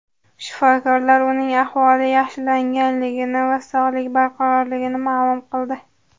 Shifokorlar uning ahvoli yaxshilanganligini va sog‘lig‘i barqarorligini ma’lum qildi.